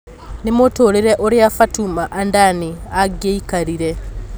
Nĩ mũtũrĩre ũria fatuma andani angĩikarire